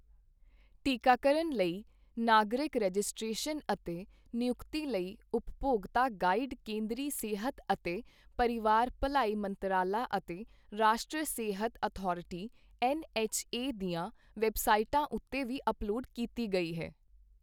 ਟੀਕਾਕਰਨ ਲਈ ਨਾਗਰਿਕ ਰਜਿਸਟ੍ਰੇਸ਼ਨ ਅਤੇ ਨਿਯੁਕਤੀ ਲਈ ਉਪਭੋਗਤਾ ਗਾਈਡ ਕੇਂਦਰੀ ਸਿਹਤ ਅਤੇ ਪਰਿਵਾਰ ਭਲਾਈ ਮੰਤਰਾਲਾ ਅਤੇ ਰਾਸ਼ਟਰੀ ਸਿਹਤ ਅਥਾਰਟੀ ਐੱਨ ਐੱਚ ਏ ਦੀਆਂ ਵੈਬਸਾਈਟਾਂ ਉੱਤੇ ਵੀ ਅਪਲੋਡ ਕੀਤੀ ਗਈ ਹੈ।